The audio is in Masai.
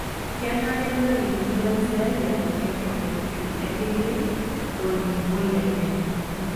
Kenare nelikini laisiyiak eton eitu egili olning'o lenye.